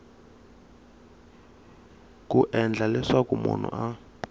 ku endla leswaku munhu a